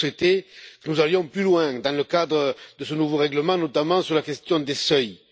J'aurais souhaité que nous allions plus loin dans le cadre de ce nouveau règlement, notamment sur la question des seuils.